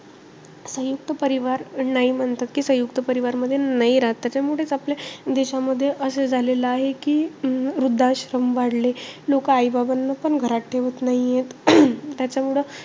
सयुंक्त परिवार नाही म्हणतात. कि सयुंक्त परिवार मध्ये नाही राहत. त्याच्यामुळेचं, आपल्या देशामध्ये असं झालेलं ते कि, वृद्धाश्रम वाढले. लोक आई-बाबांना पण घरात ठेवत नाहीये. त्याच्यामुळे,